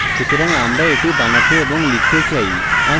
সুতরাং আমরা এটি বানাতে এবং লিখতে চাই